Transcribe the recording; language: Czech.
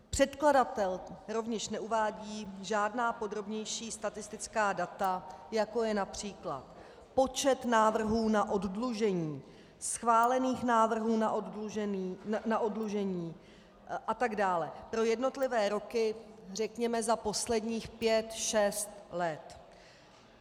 Předkladatel rovněž neuvádí žádná podrobnější statistická data, jako je například počet návrhů na oddlužení, schválených návrhů na oddlužení a tak dále pro jednotlivé roky řekněme za posledních pět, šest let.